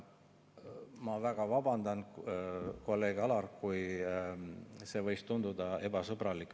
Ma väga vabandan, kolleeg Alar, kui see võis tunduda ebasõbralik.